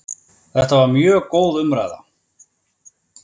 Þetta var mjög góð umræða